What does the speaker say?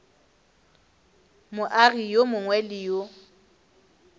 moagi yo mongwe le yo